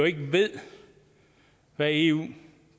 ikke ved hvad eu